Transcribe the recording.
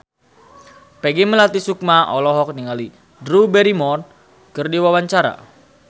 Peggy Melati Sukma olohok ningali Drew Barrymore keur diwawancara